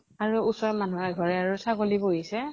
আৰু ওচৰৰ মানুহ এঘৰে আৰু ছাগলী পুহিছে